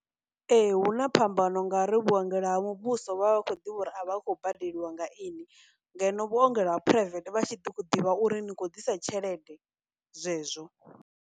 Ee, huna phambano nga uri vhuongelo ha muvhuso vha vha vha khou ḓivha uri a vha a khou badeliwa nga ini, ngeno vhuongelo ha private vha tshi ḓivha uri ni khou ḓisa tshelede zwezwo.